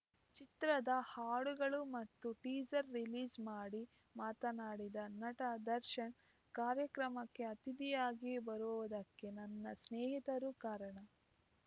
ಚಿತ್ರದ ಹಾಡುಗಳು ಮತ್ತು ಟೀಸರ್‌ ರಿಲೀಸ್‌ ಮಾಡಿ ಮಾತನಾಡಿದ ನಟ ದರ್ಶನ್‌ ಕಾರ್ಯಕ್ರಮಕ್ಕೆ ಅತಿಥಿಯಾಗಿ ಬರುವುದಕ್ಕೆ ನನ್ನ ಸ್ನೇಹಿತರು ಕಾರಣ